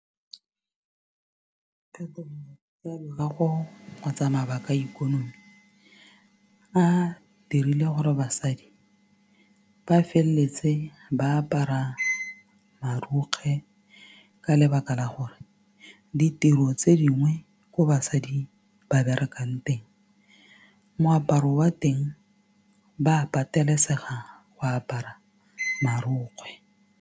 tsa loago kgotsa mabaka a ikonomi a dirile gore basadi ba feleletse ba apara marokgwe ka lebaka la gore ditiro tse dingwe ko basadi ba berekang teng moaparo wa teng ba pateletsega go apara marokgwe.